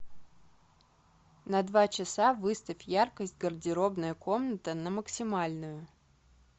на два часа выставь яркость гардеробная комната на максимальную